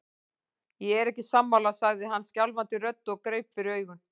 Ég er ekki sammála, sagði hann skjálfandi röddu og greip fyrir augun.